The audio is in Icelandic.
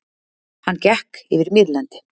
Hann gekk yfir mýrlendi.